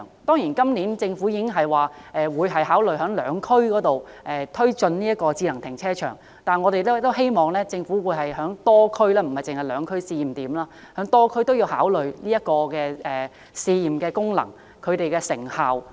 當然，政府今年已表示會考慮在兩區試點推進智能停車場，但我們希望政府能在多區推進智能停車場，檢視其功能及成效。